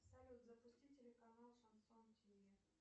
салют запусти телеканал шансон тв